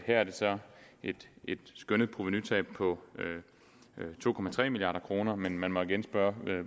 her er det så et skønnet provenutab på to milliard kr men man må igen spørge